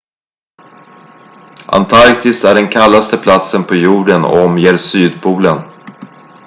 antarktis är den kallaste platsen på jorden och omger sydpolen